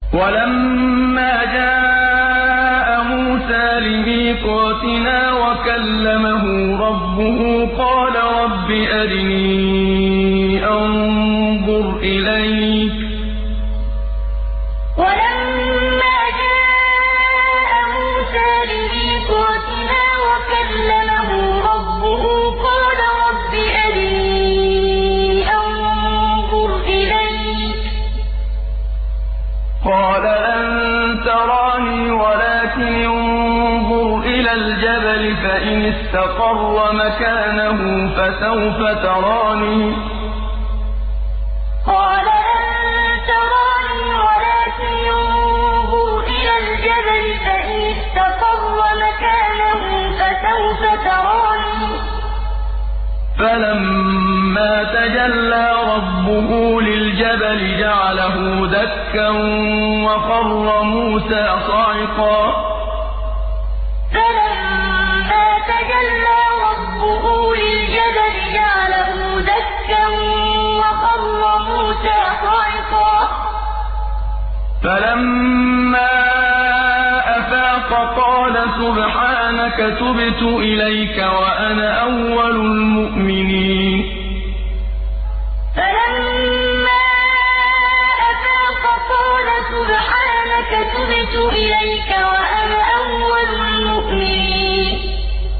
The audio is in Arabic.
وَلَمَّا جَاءَ مُوسَىٰ لِمِيقَاتِنَا وَكَلَّمَهُ رَبُّهُ قَالَ رَبِّ أَرِنِي أَنظُرْ إِلَيْكَ ۚ قَالَ لَن تَرَانِي وَلَٰكِنِ انظُرْ إِلَى الْجَبَلِ فَإِنِ اسْتَقَرَّ مَكَانَهُ فَسَوْفَ تَرَانِي ۚ فَلَمَّا تَجَلَّىٰ رَبُّهُ لِلْجَبَلِ جَعَلَهُ دَكًّا وَخَرَّ مُوسَىٰ صَعِقًا ۚ فَلَمَّا أَفَاقَ قَالَ سُبْحَانَكَ تُبْتُ إِلَيْكَ وَأَنَا أَوَّلُ الْمُؤْمِنِينَ وَلَمَّا جَاءَ مُوسَىٰ لِمِيقَاتِنَا وَكَلَّمَهُ رَبُّهُ قَالَ رَبِّ أَرِنِي أَنظُرْ إِلَيْكَ ۚ قَالَ لَن تَرَانِي وَلَٰكِنِ انظُرْ إِلَى الْجَبَلِ فَإِنِ اسْتَقَرَّ مَكَانَهُ فَسَوْفَ تَرَانِي ۚ فَلَمَّا تَجَلَّىٰ رَبُّهُ لِلْجَبَلِ جَعَلَهُ دَكًّا وَخَرَّ مُوسَىٰ صَعِقًا ۚ فَلَمَّا أَفَاقَ قَالَ سُبْحَانَكَ تُبْتُ إِلَيْكَ وَأَنَا أَوَّلُ الْمُؤْمِنِينَ